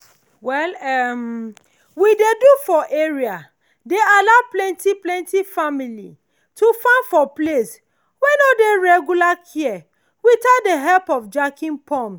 well um wey dey do for area dey allow plenty plenty family to farm for place wey no dey regular care without the help of jacking pumps.